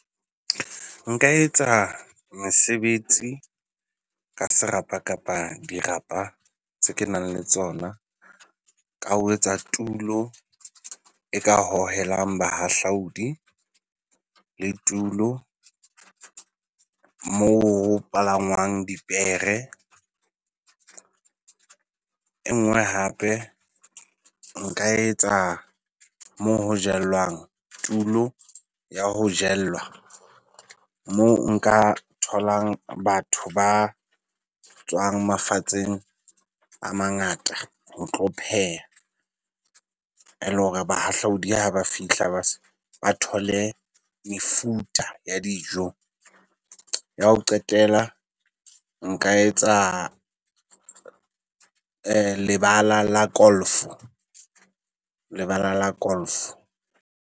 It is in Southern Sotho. Nka etsa mesebetsi ka serapa kapa dirapa tse ke nang le tsona ka ho etsa tulo e ka hohelang bahahlaodi le tulo mo ho palangwang dipere. Enngwe hape nka etsa mo ho jellwang, tulo ya ho jella moo nka tholang batho ba tswang mafatsheng a mangata ho tlo pheha ele hore ha bahahlaodi ha ba fihla ba thole mefuta ya dijo. Ya ho qetela nka etsa lebala la golf, lebala la golf.